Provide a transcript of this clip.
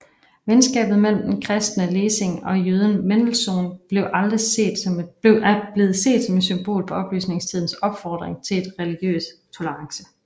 Venskabet mellem den kristne Lessing og jøden Mendelssohn er blevet set som et symbol på oplysningstidens opfordring til religiøs tolerance